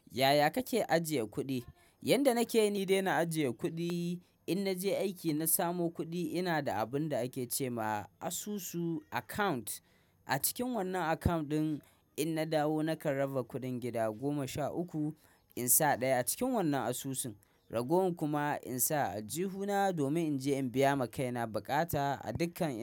Yaya kake ajiye kuɗi? Yanda nake yi ni dai na ajiye kuɗi, in naje aiki na samo kuɗi ina da abun da ake ce ma asusu account. A cikin wannan account ɗin in na dawo nakan raba kuɗin gida goma sha uku insa ɗaya a cikin wannan asusun. Ragowar kuma insa a aljihuna domin in je in biya ma kaina baƙata a dukkan.